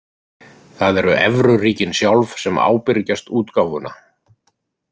Það eru evruríkin sjálf sem ábyrgjast útgáfuna.